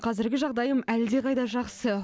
қазіргі жағдайым әлдеқайда жақсы